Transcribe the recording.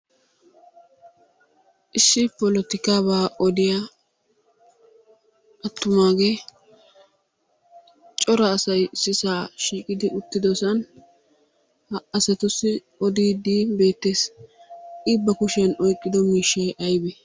Issi polotikaabaa odiyaa attumagee cora asay issisa shiiqidi uttidosan ha asattusi odiiddi beettees. I ba kushiyan oyiqqido miishshay ayibee?